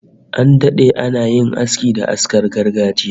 An dade ana yin aski da askar gargajiya